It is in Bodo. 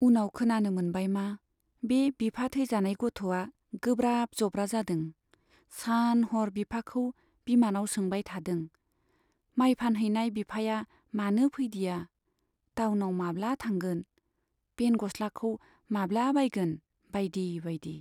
उनाव खोनानो मोनबाय मा बे बिफा थैजानाय गथ'आ गोब्राब जब्रा जादों , सान हर बिफाखौ बिमानाव सोंबाय थादों, माइ फानहैनाय बिफाया मानो फैदिया , टाउनाव माब्ला थांगोन , पेन गस्लाखौ माब्ला बायगोन बाइदि बाइदि।